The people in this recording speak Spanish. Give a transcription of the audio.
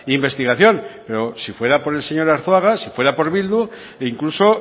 investigación pero si fuera por el señor arzuaga si fuera por bildu e incluso